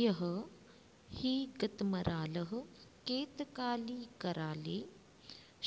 इह हि गतमरालः केतकाली कराले